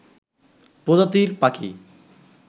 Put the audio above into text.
প্রজাতির পাখি